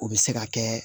O bɛ se ka kɛ